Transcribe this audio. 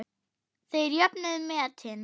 Þeir jöfnuðu metin.